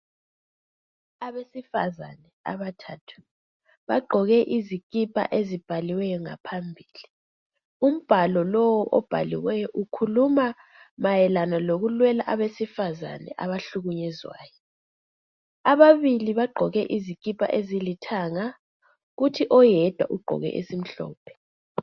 Abesifazane abathathu bagqoke izikipa ezibhaliweyo ngaphambili. Umbhalo lowu obhaliweyo ukhuluma mayelana lokulwela abesifazane abahlukunyezwayo. Ababili bagqoke izikipa ezilithanga kuthi oyedwa ugqoke esimhlophe.